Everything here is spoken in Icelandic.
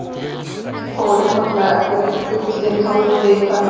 Gengið fór einfaldlega eftir gullinnihaldi hverrar myntar.